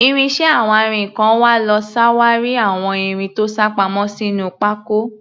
Ìrìn iṣẹ́ awárinkàn wa ló ṣàwárí àwọn irin tó sápamọ́ sínú pákó.